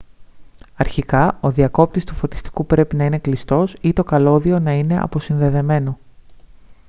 αρχικά ο διακόπτης του φωτιστικού πρέπει να είναι κλειστός ή το καλώδιο να είναι αποσυνδεδεμένο